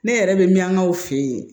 Ne yɛrɛ bɛ min k'aw fɛ yen